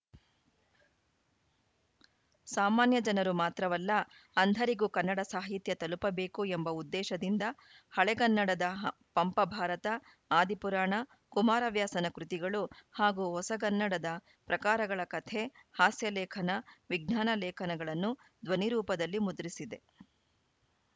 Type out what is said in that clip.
ಸಾಮಾನ್ಯ ಜನರು ಮಾತ್ರವಲ್ಲ ಅಂಧರಿಗೂ ಕನ್ನಡ ಸಾಹಿತ್ಯ ತಲುಪಬೇಕು ಎಂಬ ಉದ್ದೇಶದಿಂದ ಹಳೆಗನ್ನಡದ ಪಂಪ ಭಾರತ ಆದಿಪುರಾಣ ಕುಮಾರವ್ಯಾಸನ ಕೃತಿಗಳು ಹಾಗೂ ಹೊಸಗನ್ನಡದ ಪ್ರಕಾರಗಳ ಕಥೆ ಹಾಸ್ಯಲೇಖನ ವಿಜ್ಞಾನ ಲೇಖನಗಳನ್ನು ಧ್ವನಿರೂಪದಲ್ಲಿ ಮುದ್ರಿಸಿದೆ